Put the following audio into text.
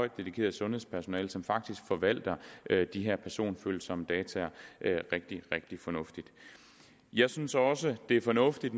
dedikeret sundhedspersonale som faktisk forvalter de her personfølsomme data rigtig rigtig fornuftigt jeg synes også det er fornuftigt